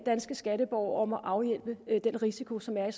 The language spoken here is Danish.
danske skatteborgere om at afhjælpe den risiko som er